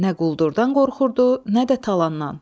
Nə quldurdan qorxurdu, nə də talandan.